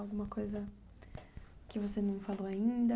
Alguma coisa que você não falou ainda?